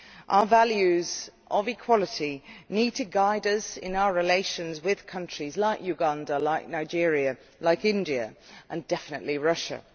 Our values of equality need to guide us in our relations with countries like Uganda, Nigeria, India and, definitely, Russia.